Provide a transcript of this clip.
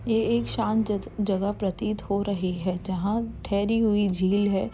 ये एक शांत ज ज जगह प्रतीत हो रही है। जहाँ ठेहरी हुई झील है।